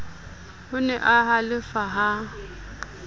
o ne a halefa ha